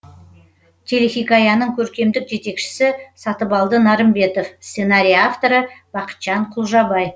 телехикаяның көркемдік жетекшісі сатыбалды нарымбетов сценарий авторы бақытжан құлжабай